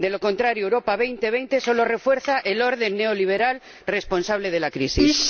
De lo contrario, Europa 2020 solo refuerza el orden neoliberal responsable de la crisis.